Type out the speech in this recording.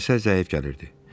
Dumana görə səs zəif gəlirdi.